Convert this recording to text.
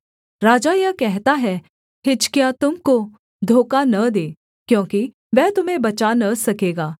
राजा यह कहता है हिजकिय्याह तुम को धोखा न दे क्योंकि वह तुम्हें बचा न सकेगा